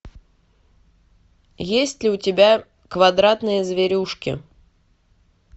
есть ли у тебя квадратные зверюшки